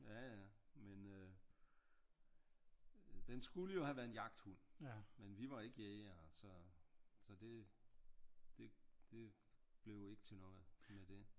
Ja ja men øh den skulle jo have været en jagthund men vi var ikke jægere så så det blev ikke til noget med det